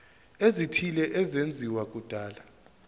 ezithile ezenziwa kudala